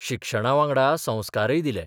शिक्षणावांगडा संस्कारय दिले.